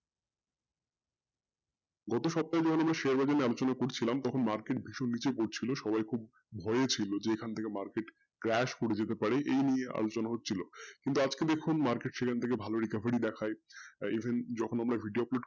গত সপ্তাহে যখন আমি share পড়ছিলাম তখন market ভীষণ নীচে পড়ছিল যে সবাই খুব ভয়ে ছিলো যে এখান থেকে market crash করে যেতে পারে এই নিয়ে আলোচনা হচ্ছিলো কিন্তু আজকে দেখুন market সেখান থেকে ভালো recovery দেখায় even যখন আমরা video upload